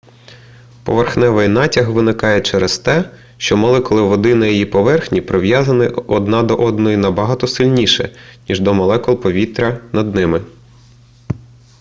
поверхневий натяг виникає через те що молекули води на її поверхні прив'язані одна до одної набагато сильніше ніж до молекул повітря над ними